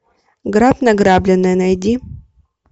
грабь награбленное найди